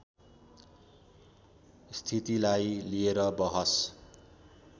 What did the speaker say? स्थितलाई लिएर बहस